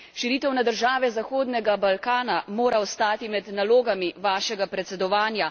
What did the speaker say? Širitev na države zahodnega Balkana mora ostati med nalogami vašega predsedovanja.